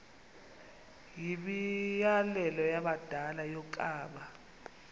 yimianelo yabadala yokaba